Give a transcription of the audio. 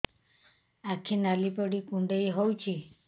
ଆଖି ନାଲି ପଡିକି କୁଣ୍ଡେଇ ହଉଛି